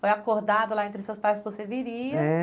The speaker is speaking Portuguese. Foi acordado lá entre seus pais que você viria. É